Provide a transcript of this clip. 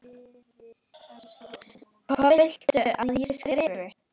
Hvað viltu að ég skrifi?